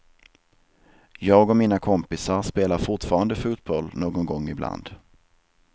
Jag och mina kompisar spelar fortfarande fotboll någon gång ibland.